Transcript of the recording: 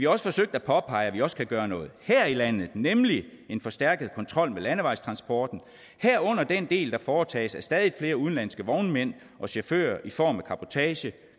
også forsøgt at påpege at vi også kan gøre noget her i landet nemlig en forstærket kontrol med landevejstransporten herunder den del der foretages af stadig flere udenlandske vognmænd og chauffører i form af cabotage